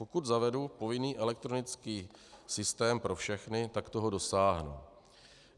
Pokud zavedu povinný elektronický systém pro všechny, tak toho dosáhnu.